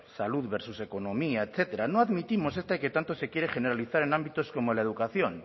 salud versus economía etcétera no admitimos este que tanto se quiere generalizar en ámbitos como la educación